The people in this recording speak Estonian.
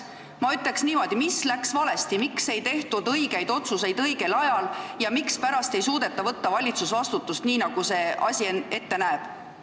Ma küsin niimoodi: mis läks valesti, miks ei tehtud õigeid otsuseid õigel ajal ja mispärast ei suudeta võtta valitsusvastutust, nii nagu see asi ette näeb?